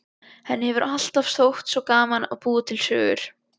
Henni hefur alltaf þótt svo gaman að búa til sögur.